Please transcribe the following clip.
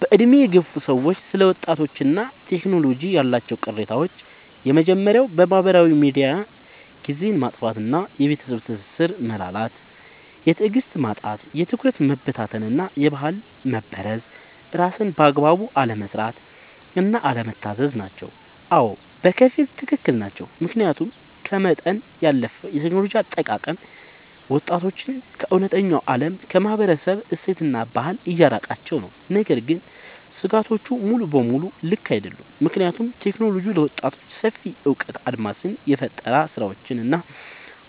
በዕድሜ የገፉ ሰዎች ስለ ወጣቶችና ቴክኖሎጂ ያላቸው ቅሬታዎች የመጀመርያው በማህበራዊ ሚዲያ ጊዜን ማጥፋት እና የቤተሰብ ትስስር መላላት። የትዕግስት ማጣት፣ የትኩረት መበታተን እና የባህል መበረዝ። ስራን በአግባቡ አለመስራት እና አለመታዘዝ ናቸው። አዎ፣ በከፊል ትክክል ናቸው። ምክንያቱም ከመጠን ያለፈ የቴክኖሎጂ አጠቃቀም ወጣቶችን ከእውነተኛው ዓለም፣ ከማህበረሰብ እሴትና ከባህል እያራቃቸው ነው። ነገር ግን ስጋቶቹ ሙሉ በሙሉ ልክ አይደሉም፤ ምክንያቱም ቴክኖሎጂ ለወጣቶች ሰፊ የእውቀት አድማስን፣ የፈጠራ ስራዎችን እና